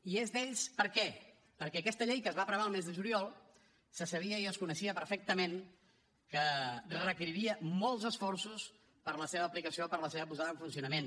i és d’ells per què perquè aquesta llei que es va aprovar el mes de juliol se sabia i es coneixia perfectament que requeriria molts esforços per a la seva aplicació per a la seva posada en funcionament